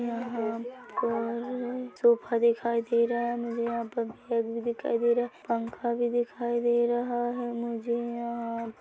यहाँ पर सोफा दिखाई दे रहा है मुझे यहाँ पर बेड भी दिखाई दे रहा है पंखा भी दिखाई दे रहा है मुझे यहाँ--